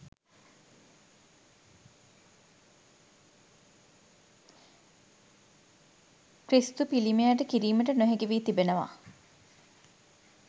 ක්‍රිස්තු පිළිමයට කිරීමට නොහැකිවී තිබෙනවා.